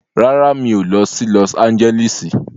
Rárá, mi ò lọ sí Lọs Ánjẹ́lísì.